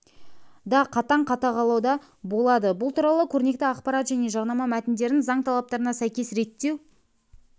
да қатаң қадағалауда болады бұл туралы көрнекті ақпарат және жарнама мәтіндерін заң талаптарына сәйкес реттеу